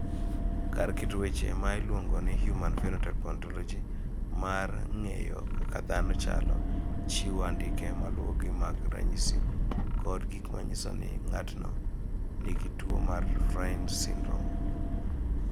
Kar keto weche ma iluongo ni Human Phenotype Ontology mar ng�eyo kaka dhano chalo, chiwo andike ma luwogi mag ranyisi kod gik ma nyiso ni ng�ato nigi tuo mar Fryns syndrome.